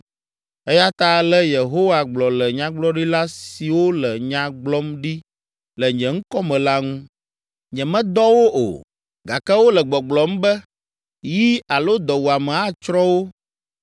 Eya ta ale Yehowa gblɔ le nyagblɔɖila siwo le nya gblɔm ɖi le nye ŋkɔ me la ŋu. Nyemedɔ wo o, gake wole gbɔgblɔm be, ‘Yi alo dɔwuame atsrɔ̃ wo